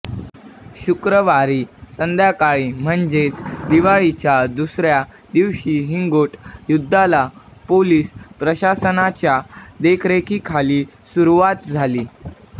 शुक्रवारी संध्याकाळी म्हणजेच दिवाळीच्या दुसऱ्या दिवशी हिंगोट युद्धाला पोलीस प्रशासनाच्या देखरेखीखाली सुरुवात झाली